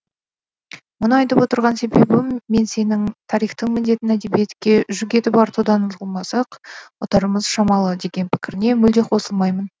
мұны айтып отырған себебім мен сенің тарихтың міндетін әдебиетке жүк етіп артудан ұтылмасақ ұтарымыз шамалы деген пікіріңе мүлде қосылмаймын